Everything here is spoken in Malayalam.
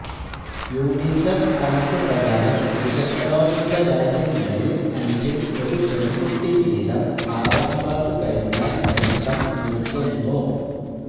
യൂണിസെഫ് കണക്ക് പ്രകാരം വികസനോന്മുഖ രാജ്യങ്ങളില് അഞ്ചില് ഒരു പെണ്കുട്ടി വീതം ആറാം ക്ലാസ് കഴിഞ്ഞാല് പഠിത്തം നിര്ത്തുന്നു